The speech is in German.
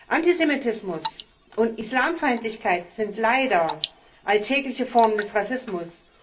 Antisemitismus und Islamfeindlichkeit sind leider alltägliche Formen des Rassismus.